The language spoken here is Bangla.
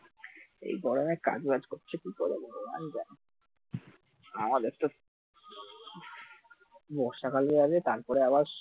এই গরমে কাজ বাজ করছে কি করে ভগবান জানে আমাদের তো বর্ষাকাল যাবে তারপর আবার,